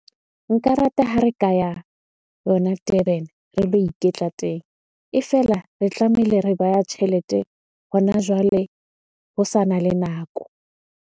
Nka rata ha re kaya yona Durban, re lo iketla teng. E fela, re tlamehile re baya tjhelete hona jwale ho sana le nako.